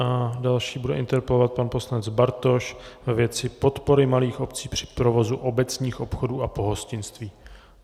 A další bude interpelovat pan poslanec Bartoš ve věci podpory malých obcí při provozu obecních obchodů a pohostinství.